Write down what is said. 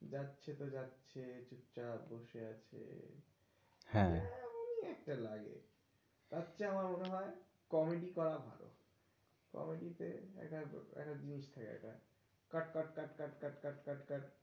যাচ্ছে তো যাচ্ছে চুপচাপ বসে আছে। হ্যাঁ কিরম একটা লাগে। তার চেয়ে আমার মনে হয় comedy করা ভালো। comedy তে একটা একটা জিনিস থাকে একটা cut cut cut cut cut cut.